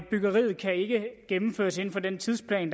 byggeriet kan ikke gennemføres inden for den tidsplan